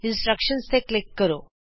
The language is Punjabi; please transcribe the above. ਇੰਸਟ੍ਰਕਸ਼ਨਜ਼ ਹਿਦਾਇਤਾਂ ਤੇ ਕਲਿਕ ਕਰੋ